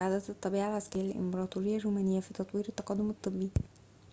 ساعدت الطبيعة العسكرية للإمبراطورية الرومانية في تطوير التقدم الطبي